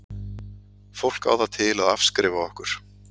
Fólk á það til að afskrifa okkur.